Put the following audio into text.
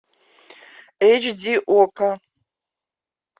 эйч ди окко